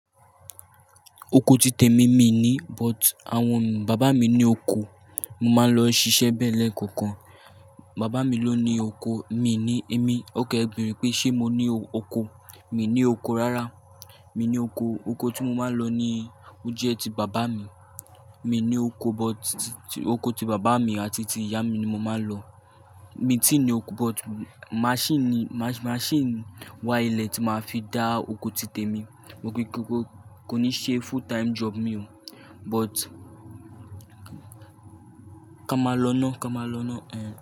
Oko ti tèmi mi ni, but àwọn baba mi ni oko, mo máa ń lọ ṣiṣẹ́ bẹ́ẹ̀ lẹ́ẹ̀kọ̀kan. Baba mi ló ni oko, mi ni èmi. Ók e beere pé ṣe mo ní oko. Mi ní oko rárá. Mi ní oko, oko tí mo máa ń lọ ní ó jẹ́ ti bàbá mi. Mi ní oko but oko ti bàbá mi àti ti ìyá mi ni mo máa ń lọ. Mi ti ní oko but máṣíìnì, máṣíìnì wa ile tí máa fi dá oko ti tèmi. Mo rí pé kò ní ṣe full time job mi o. But ka máa lọ ná, ka máa lọ ná, eh.